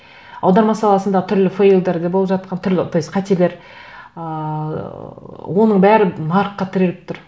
аударма саласында түрлі фейлдар да болып жатқан түрлі то есть қателер ыыы оның бәрі нарыққа тіреліп тұр